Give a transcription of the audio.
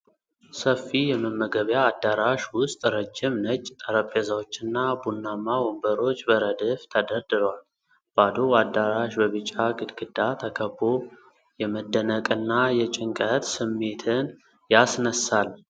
ሰፊ የመመገቢያ አዳራሽ ውስጥ ረጅም ነጭ ጠረጴዛዎችና ቡናማ ወንበሮች በረድፍ ተደርድረዋል። ባዶው አዳራሽ በቢጫ ግድግዳ ተከቦ የመደነቅና የጭንቀት ስሜትን ያስነሳል።